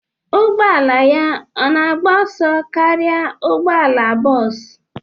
Ụgbọ ala ya ọ na-agba ọsọ karịa ụgbọ ala bọsụ?